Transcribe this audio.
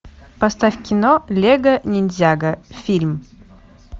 поставь кино лего ниндзяго фильм